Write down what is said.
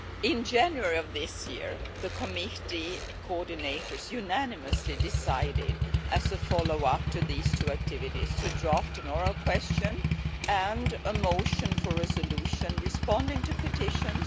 In January of this year, the committee coordinators unanimously decided, as a follow up to these two activities, to draft an oral question and a motion for a resolution responding to petitions.